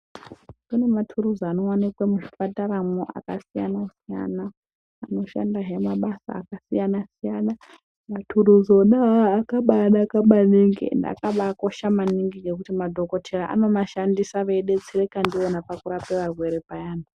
Kune maturuzi anowanikwa muzvipataramwo akasiyana siyana anoshandahe mabasa akasiyana siyana. Maturuzi ona awawo akabaanaka maningi ende akabaakosha maningi ngekuti madhokodheya anomashandisa veidetsereka ndiwona pakurape varwere payani.